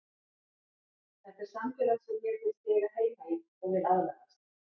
Þetta er samfélag sem mér finnst ég eiga heima í og vil aðlagast.